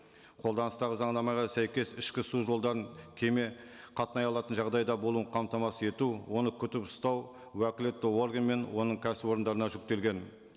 қолданыстағы заңнамаға сәйкес ішкі су жолдарын кеме қатынай алатын жағдайда болуын қамтамасыз ету оны күтіп ұстау уәкілетті орган мен оның кәсіпорындарына жүктелген